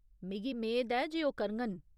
मिगी मेद ऐ जे ओह् करङन।